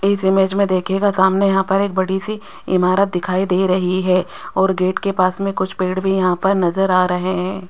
इस इमेज में देखिएगा सामने यहां पर एक बड़ी सी इमारत दिखाई दे रही है और गेट के पास में कुछ पेड़ भी यहां पर नजर आ रहे हैं।